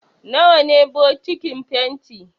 Nawa ne bokitin fenti?